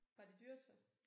Var det dyrt så?